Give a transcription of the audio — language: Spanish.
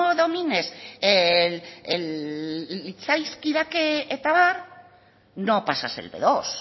domines el litzaizkidake eta abar no pasas el be dos